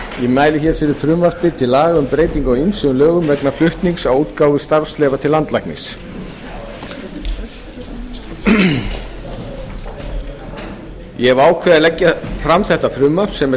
mæli hér fyrir frumvarpi til laga um breytingu á ýmsum lögum vegna flutnings á útgáfu starfsleyfa til landlæknis ég hef ákveðið að leggja fram þetta frumvarp sem er